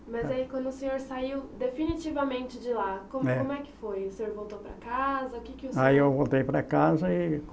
Mas aí quando o senhor saiu definitivamente de lá, como como é que foi? O senhor voltou para casa, o que que o senhor. Aí eu voltei para casa e